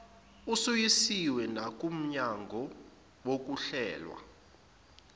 usuyisiwe nakumnyango wokuhlelwa